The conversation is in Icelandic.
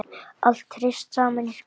Allt hrist saman í krukku.